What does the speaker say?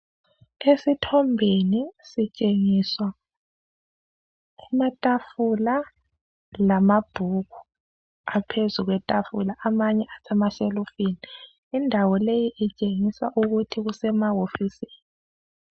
Esithombeni sitshengiswa amatafula lamabhuku aphezu kwetafula amanye asemashelufini indawo leyi itshengisa ukuthi kusemahofisini.